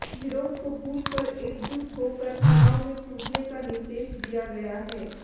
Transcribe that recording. विरोध को भूलकर एकजुट होकर चुनाव में कूदने का निर्देश दिया गया है